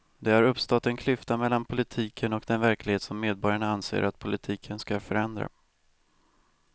Det har uppstått en klyfta mellan politiken och den verklighet som medborgarna anser att politiken ska förändra.